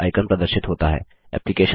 Thunderbird icon प्रदर्शित होता है